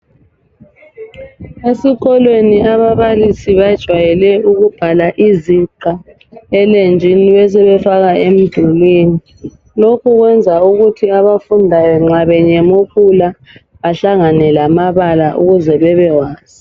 Esikolweni ababalisi bajwayele ukubhala iziqa elenjini besefaka umdulini. Lokhu kwenza ukuthi abafundayo nxa benyemukula bahlangane lamabala ukuze bebewazi.